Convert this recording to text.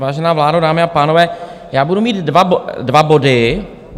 Vážená vládo, dámy a pánové, já budu mít dva body.